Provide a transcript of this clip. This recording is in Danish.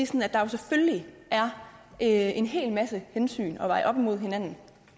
sådan at der selvfølgelig er en hel masse hensyn at veje op imod hinanden